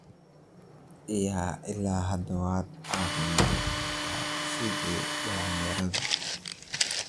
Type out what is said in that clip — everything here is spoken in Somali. Iyaa! Ila hada waad cafimadt kabta sidhi dalinyaradhii.